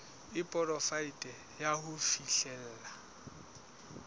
e poraefete ya ho fihlella